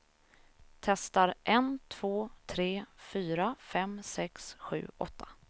Testar en två tre fyra fem sex sju åtta.